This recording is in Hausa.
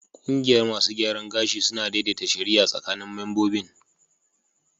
Kungiyar masu gyaran gashi suna daidaita shari'a tsakanin membobin